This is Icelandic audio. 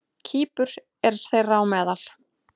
Kýpur er þeirra á meðal.